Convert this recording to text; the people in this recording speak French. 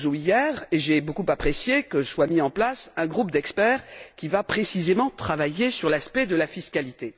Barroso hier et j'ai beaucoup apprécié que soit mis en place un groupe d'experts qui travaillera précisément sur l'aspect de la fiscalité.